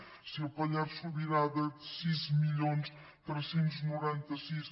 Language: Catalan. zero si el pallars sobirà de sis mil tres cents i noranta sis